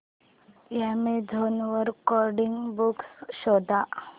Amazon वर coding books शोधा